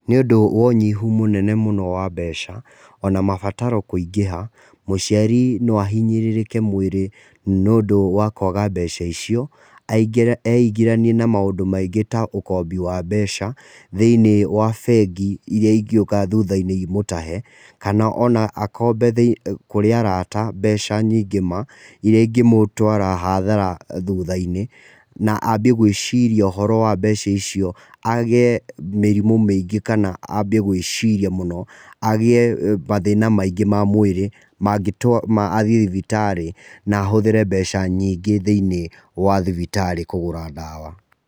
Nĩũndũ wa ũnyihu mũnene mũno wa mbeca, ona mabataro kũingĩha, mũciari no ahinyĩrĩke mwĩrĩ nĩũndũ wa kũaga mbeca icio. Eingĩranie na maũndũ maingi ta ũkombi wa mbeca, thĩinĩ wa bengi iria ingĩũka thutha-inĩ imũtahe, kana akombe kũrĩ arata mbeca nyingĩ ma, iria ingĩ mũtwara hathara thutha-inĩ, na ambie gwĩciria ũhoro wa mbeca icio, agĩe mĩrimũ mĩingi, kana ambie gwĩciria mũno, agĩe mathĩna maingĩ ma mwĩrĩ mangĩtũma athĩe thibitarĩ, na ahũthĩre mbeca nyingĩ thĩinĩ wa thibitarĩ kũgũra ndawa.